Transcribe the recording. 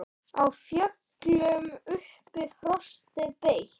Á fjöllum uppi frostið beit.